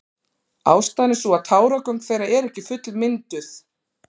Ástæðan er sú að táragöng þeirra eru ekki fullmynduð.